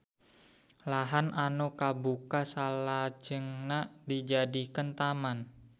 Lahan anu kabuka salajengna dijadikeun taman